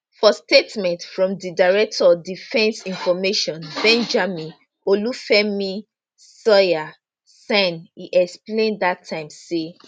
for statement from di director defence information benjamin olufemi sawyerr sign e explain dat time say